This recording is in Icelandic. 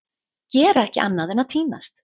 Gera ekki annað en að týnast!